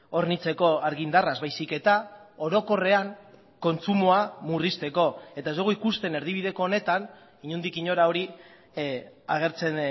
hornitzeko argindarraz baizik eta orokorrean kontsumoa murrizteko eta ez dugu ikusten erdibideko honetan inondik inora hori agertzen